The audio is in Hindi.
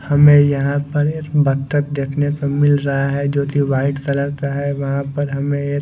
हमे यहाँ पर एक बतक देखने को मिल रहा है जो की वाइट कलर का है वहा पर हमे क --